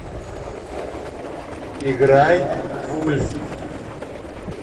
играй вульф